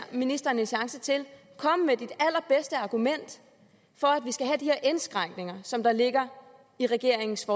ministeren en chance til kom med det allerbedste argument for at vi skal have de indskrænkninger som der ligger i regeringens